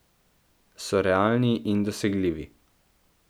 So realni in dosegljivi.